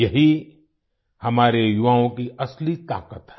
यही हमारे युवाओं की असली ताकत है